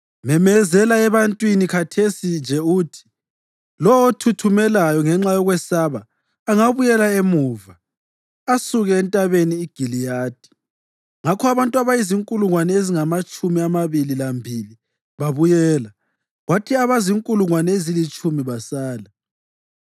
memezela ebantwini khathesi nje uthi, ‘Lowo othuthumelayo ngenxa yokwesaba angabuyela emuva asuke eNtabeni iGiliyadi.’ ” Ngakho abantu abazinkulungwane ezingamatshumi amabili lambili babuyela, kwathi abazinkulungwane ezilitshumi basala.